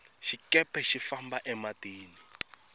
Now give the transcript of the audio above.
xikepe xi famba e matini